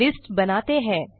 एक लिस्ट बनाते हैं